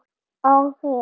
Á þig.